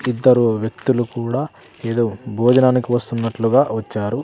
ఇద్దరు వ్యక్తులు కూడా ఏదో భోజనానికి వస్తున్నట్లుగా వచ్చారు.